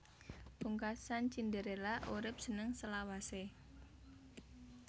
Pungkasan Cinderella urip seneng selawasé